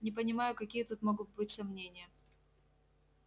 не понимаю какие тут могут быть сомнения